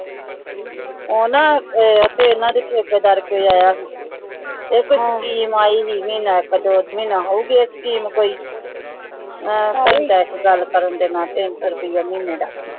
ਊ ਨਾ ਆਯ ਤੇ ਯਨਾ ਦੇ ਚਾਟੀ ਦਰ ਕੇ ਯਾ ਯਾ ਹੋਊ ਆਯ ਕਹੁ ਗੀ ਮੇਈ ਵੀ ਆਯ ਨ ਕਦੋ ਮਹੇਨਾ ਹੋ ਗਿਆ scheme ਕੋਈ ਹਨ ਹੇਇ ਬੀ ਕੇ ਗਲ ਕਰਨ ਦੇ ਨਾਲ ਤੀਨ ਸੋ ਰੁਪਿਯ ਮਹੀਨੇ ਦਾ